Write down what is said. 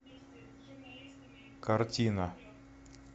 картина